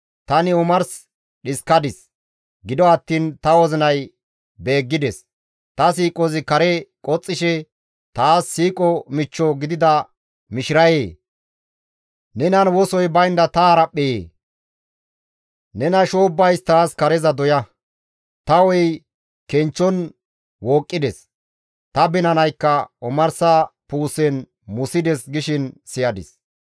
«Tani omars dhiskadis; gido attiin ta wozinay beeggides; Ta siiqozi kare qoxxishe, ‹Taas siiqo michcho gidida mishirayee! Nenan wosoy baynda ta haraphpheyee! Nena shoobbays taas kareza doya; ta hu7ey kenchchon wooqqides. Ta binanaykka omarsa puusen musides› gishin siyadis.